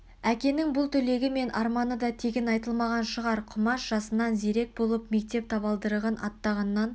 әкенің бұл тілегі мен арманы да тегін айтылмаған шығар құмаш жасынан зерек болып мектеп табалдырығын аттағаннан